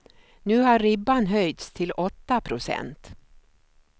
Nu har ribban höjts till åtta procent.